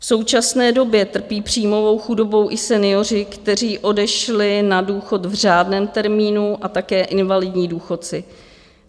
V současné době trpí příjmovou chudobou i senioři, kteří odešli na důchod v řádném termínu, a také invalidní důchodci.